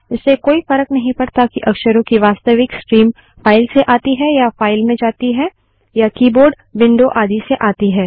इससे कोई फर्क नहीं पड़ता कि अक्षरों की वास्तविक स्ट्रीम फाइल से आती है या फाइल में जाती है या कीबोर्ड विंडो आदि से आती है